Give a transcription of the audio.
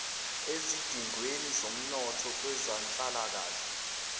ezidingweni zomnotho kwezenhlalakahle